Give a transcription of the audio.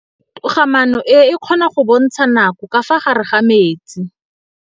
Toga-maanô e, e kgona go bontsha nakô ka fa gare ga metsi.